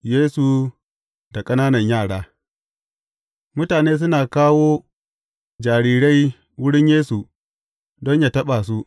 Yesu da ƙananan yara Mutane suna kawo jarirai wurin Yesu don yă taɓa su.